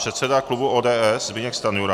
Předseda klubu ODS Zbyněk Stanjura.